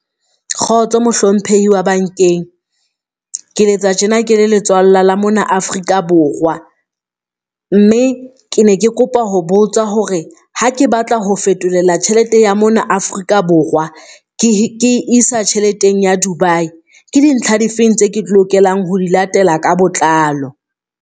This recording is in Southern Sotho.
Kgotso Mohlomphehi wa bankeng, ke letsa tjena ke le letswalla la mona Afrika Borwa, mme ke ne ke kopa ho botsa hore ha ke batla ho fetolela tjhelete ya mona Afrika Borwa ke isa tjheleteng ya Dubai. Ke dintlha difeng tse ke lokelang ho di latela ka botlalo?